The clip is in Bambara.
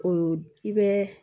O i bɛ